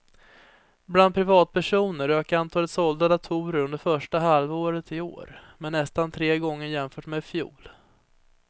Bland privatpersoner ökade antalet sålda datorer under första halvåret i år med nästan tre gånger jämfört med i fjol.